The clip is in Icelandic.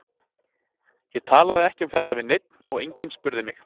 Ég talaði ekki um þetta við neinn og enginn spurði mig.